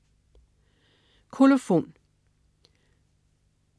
Kolofon